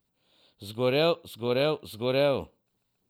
Zgorel, zgorel, zgorel!